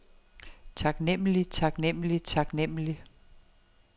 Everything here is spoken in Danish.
taknemmelig taknemmelig taknemmelig